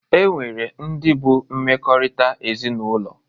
E nwere ndị bụ mmekọrịta ezinaụlọ